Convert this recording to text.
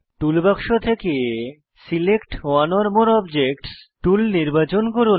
toolbox থেকে select one or more objects tool নির্বাচন করুন